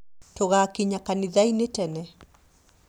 tugakinya kanithainĩ tene